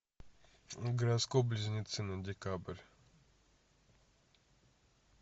гороскоп близнецы на декабрь